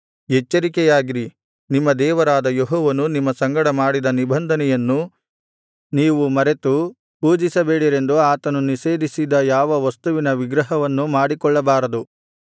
ಎಚ್ಚರಿಕೆಯಾಗಿರಿ ನಿಮ್ಮ ದೇವರಾದ ಯೆಹೋವನು ನಿಮ್ಮ ಸಂಗಡ ಮಾಡಿದ ನಿಬಂಧನೆಯನ್ನು ನೀವು ಮರೆತು ಪೂಜಿಸಬೇಡಿರೆಂದು ಆತನು ನಿಷೇಧಿಸಿದ ಯಾವ ವಸ್ತುವಿನ ವಿಗ್ರಹವನ್ನೂ ಮಾಡಿಕೊಳ್ಳಬಾರದು